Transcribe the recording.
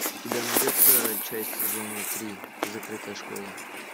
у тебя найдется часть сезона три закрытая школа